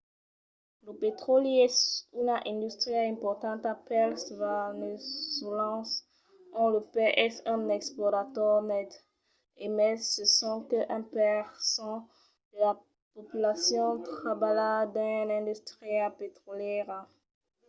lo petròli es una industria importanta pels veneçolans ont lo país es un exportador net e mai se sonque un per cent de la populacion trabalha dins l’industria petrolièra